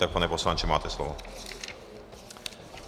Tak, pane poslanče, máte slovo.